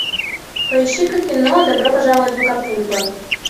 поищи ка кино добро пожаловать в акапулько